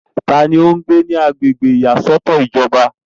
ta ni ó ń gbé ní agbègbè ìyàsọ́tọ̀ ìjọba?